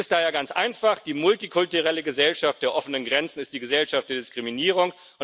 Es ist daher ganz einfach Die multikulturelle Gesellschaft der offenen Grenzen ist die Gesellschaft der Diskriminierung.